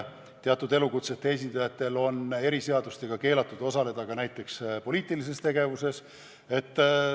Teatud elukutsete esindajatel on eriseadustega keelatud osaleda ka näiteks poliitilises tegevuses.